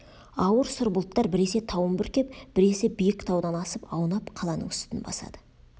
ауыр сұр бұлттар біресе тауын бүркеп біресе биік таудан асып аунап қаланың үстін басады